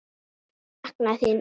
Þau sakna þín öll.